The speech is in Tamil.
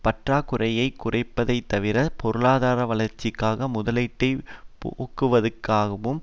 பற்றாக்குறையை குறைப்பதைத்தவிர பொருளாதார வளர்ச்சிக்காக முதலீட்டை பெருக்குவதாகவும்